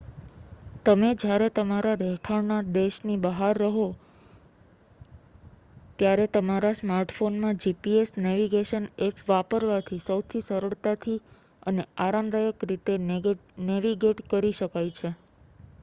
તમે જ્યારે તમારા રહેઠાણના દેશની બહાર હો ત્યારે તમારા સ્માર્ટફોનમાં gps નૅવિગેશન ઍપ વાપરવાથી સૌથી સરળતાથી અને આરામદાયક રીતે નૅવિગેટ કરી શકાય છે